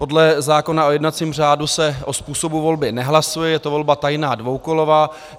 Podle zákona o jednacím řádu se o způsobu volby nehlasuje, je to volba tajná dvoukolová.